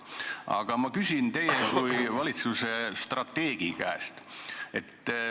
Aga ma küsin teie kui valitsuse strateegi käest.